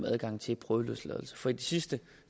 adgang til prøveløsladelse for i de sidste